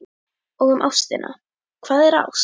Og um ástina: Hvað er ást?